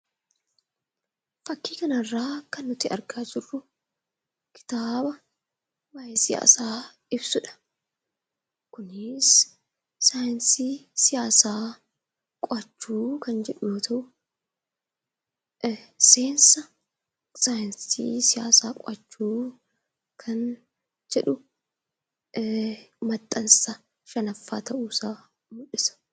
Fakkii kana irraa kan nuti argaa jirru, kitaaba waayee siyaasaa ibsudha. Kunis saayinsii siyaasaa qo'achuu kan jedhu yoo ta'u, seensa saayinsii siyaasaa qo'achuu kan jedhu maxxansa shanaffaa ta'uu isaa mul'isa.